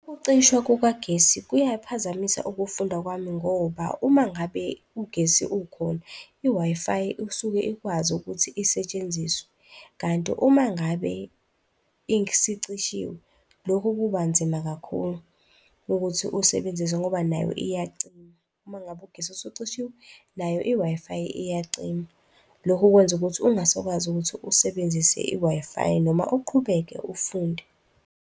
Ukucishwa kukagesi kuyaphazamisa ukufunda kwami ngoba uma ngabe ugesi ukhona i-Wi-Fi usuke ikwazi ukuthi isetshenziswe kanti uma ngabe isicishiwe lokhu kubanzima kakhulu ukuthi uwusebenzise ngoba nayo iyacima. Uma ngabe ugesi ucishiwe, nayo i-Wi-Fi iyacima. Lokhu kwenza ukuthi ungasakwazi ukuthi usebenzise i-Wi-Fi noma uqhubeke ufunde.